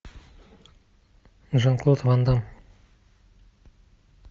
жан клод ван дамм